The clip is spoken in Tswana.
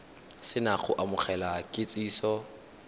se na go amogela kitsiso